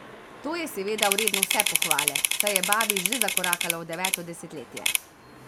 To je seveda vredno vse pohvale, saj je babi že zakorakala v deveto desetletje.